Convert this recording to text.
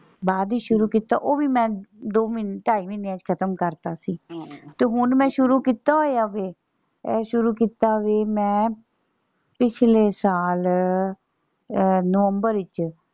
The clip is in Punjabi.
ਬਾਅਦ ਚ ਸ਼ੁਰੂ ਕੀਤਾ ਉਹ ਵੀ ਮੈਂ ਦੋ ਮਹੀਨਿਆਂ ਚ ਢਾਈ ਮਹੀਨਿਆਂ ਚ ਖਤਮ ਕਰਤਾ ਸੀ ਤੇ ਹੁਣ ਮੈਂ ਸ਼ੁਰੂ ਕੀਤਾ ਹੋਇਆ ਫੇਰ ਇਹ ਸ਼ੁਰੂ ਕੀਤਾ ਸੀ ਮੈਂ ਪਿਛਲੇ ਸਾਲ ਅਹ ਨਵੰਬਰ ਵਿੱਚ।